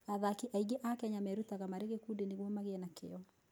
Athaki aingĩ a Kenya merutaga marĩ gĩkundi nĩguo magĩe na kĩyo.